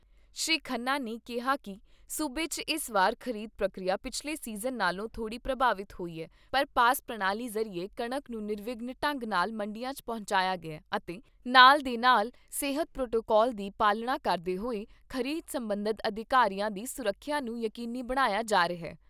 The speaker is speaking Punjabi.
ਸ਼੍ਰੀ ਖੰਨਾ ਨੇ ਕਿਹਾ ਕਿ ਸੂਬੇ 'ਚ ਇਸ ਵਾਰ ਖ਼ਰੀਦ ਪ੍ਰਕਿਰਿਆ ਪਿਛਲੇ ਸੀਜਨ ਨਾਲੋਂ ਥੋੜੀ ਪ੍ਰਭਾਵਿਤ ਹੋਈ ਏ, ਪਰ ਪਾਸ ਪ੍ਰਣਾਲੀ ਜ਼ਰੀਏ ਕਣਕ ਨੂੰ ਨਿਰਵਿਘਨ ਢੰਗ ਨਾਲ ਮੰਡੀਆਂ 'ਚ ਪਹੁੰਚਾਇਆ ਗਿਆ ਅਤੇ ਨਾਲ ਦੀ ਨਾਲ ਸਿਹਤ ਪ੍ਰੋਟੋਕਾਲ ਦੀ ਪਾਲਣਾ ਕਰਦੇ ਹੋਏ ਖ਼ਰੀਦ ਸਬੰਧਤ ਅਧਿਕਾਰੀਆਂ ਦੀ ਸੁਰੱਖਿਆ ਨੂੰ ਯਕੀਨੀ ਬਣਾਇਆ ਜਾ ਰਿਹਾ।